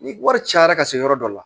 Ni wari cayara ka se yɔrɔ dɔ la